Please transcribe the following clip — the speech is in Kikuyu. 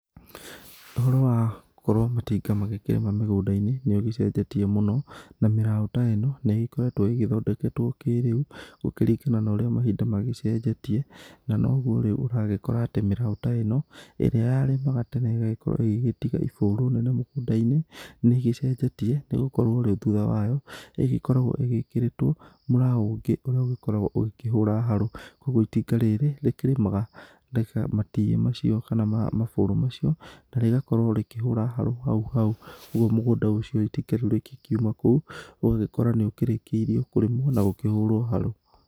Ũhoro wa gũkorwo matinga magĩkĩrĩma mĩgũnda-inĩ nĩ ũgĩcenjetie mũno, na mĩrao ta ĩno nĩ ĩgĩkoretwo ĩgĩthondeketwo kĩrĩu gũkĩringana na ũrĩa mahinda magĩcenjetie, na noguo rĩu ũragĩkora atĩ mĩraũ ta ĩno ĩrĩa yarĩmaga tene ĩgagĩkorwo ĩgĩgĩtiga ibũrũ nene mũgũnda-inĩ, nĩ ĩgĩcenjetie, nĩ gũkorwo rĩu thutha wayo, ĩgĩkoragwo ĩgĩkĩrĩtwo mũraũ ũngĩ ũrĩa ũgĩkoragwo ũgĩkĩhũra harũ, kuguo itinga rĩrĩ rĩkĩmaga na matirĩ macio kana mabũrũ macio na rĩgakorwo rĩkĩhũra harũ hau hau, ũguo mũgũnda ũcio itinga rĩu rĩkiuma hau ũgagĩkora nĩ ũkĩrĩkĩirio kũrĩmwo na gũkĩhĩra harũ.